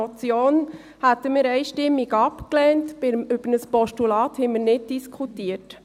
Eine Motion hätten wir einstimmig abgelehnt, über ein Postulat haben wir nicht diskutiert.